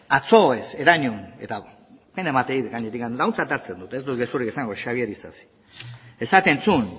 atzo ez herenegun eta gaur pena ematen dit gainera eta ontzat hartzen dut ez dut gezurrik esango xabier isasik esaten zuen